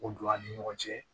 O don an ni ɲɔgɔn cɛ